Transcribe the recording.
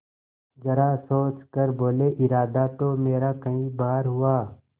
जरा सोच कर बोलेइरादा तो मेरा कई बार हुआ